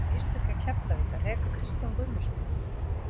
Voru mistök hjá Keflavík að reka Kristján Guðmundsson?